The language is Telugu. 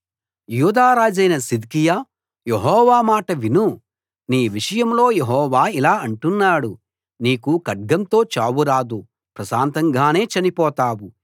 యూదా రాజువైన సిద్కియా యెహోవా మాట విను నీ విషయంలో యెహోవా ఇలా అంటున్నాడు నీకు ఖడ్గంతో చావు రాదు ప్రశాంతంగానే చనిపోతావు